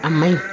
A ma ɲi